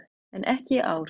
En ekki í ár.